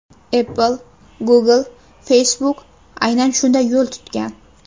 Apple, Google va Facebook aynan shunday yo‘l tutgan.